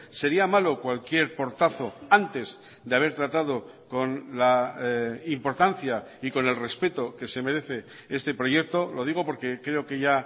sería malo cualquier portazo antes de haber tratado con la importancia y con el respeto que se merece este proyecto lo digo porque creo que ya